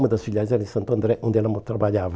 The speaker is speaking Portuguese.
Uma das filiais era em Santo André, onde ela mo trabalhava.